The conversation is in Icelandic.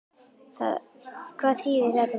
Hvað þýðir þetta fyrir leikmenn?